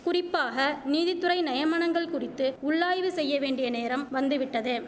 குறிப்பாக நீதித்துறை நெயமனங்கள் குறித்து உள்ளாய்வு செய்யவேண்டிய நேரம் வந்துவிட்டது